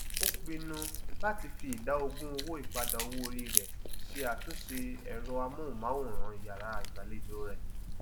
ó pinnu láti fi ìdá ogún owó ìpadà owóori rẹ ṣe àtúnṣe ẹrọ amóhùnmáwòrán iyàrá ìgbàlejò rẹ